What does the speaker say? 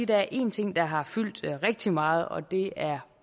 der er en ting der har fyldt rigtig meget og det er